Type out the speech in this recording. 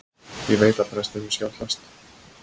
Ég veit að prestinum skjátlast.